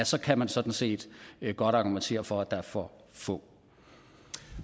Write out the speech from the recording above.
så kan man sådan set godt argumentere for at der er for få